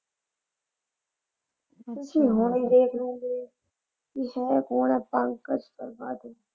ਤੁਸੀਂ ਹੁਣੀ ਈ ਦੇਖ ਲੈਂਦੇ, ਕਿ ਹੈ ਕੌਣ ਆ ਪੰਕਜ ਤ੍ਰਿਪਾਠੀ।